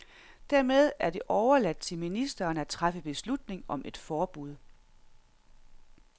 Dermed er det overladt til ministeren at træffe beslutning om et forbud.